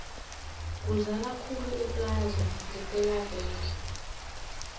kuzala khulu eplaza ngepela veke